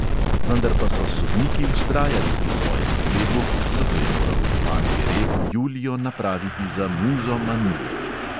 Vendar pa so sodniki vztrajali pri svojem sklepu, zato je moral župan jereb julijo napraviti za "muzo manile".